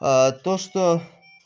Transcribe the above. то что